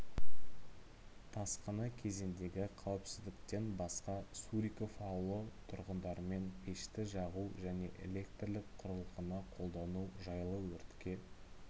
тасқыны кезіндегі қауіпсіздіктен басқа суриков ауылы тұрғындарымен пешті жағу және электрлік құрылғыны қолдану жайлы өртке